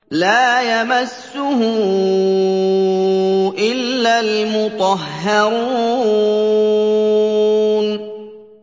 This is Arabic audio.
لَّا يَمَسُّهُ إِلَّا الْمُطَهَّرُونَ